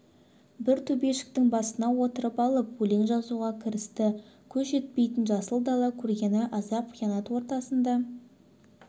бір төбешіктің басына отырып алып өлең жазуға кірісті көз жетпейтін жасыл дала көргені азап қиянат ортасында